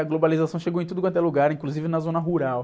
A globalização chegou em tudo quanto é lugar, inclusive na zona rural.